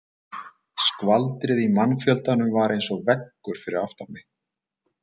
Skvaldrið í mannfjöldanum var eins og veggur fyrir aftan mig.